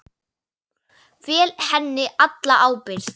Fel henni alla ábyrgð.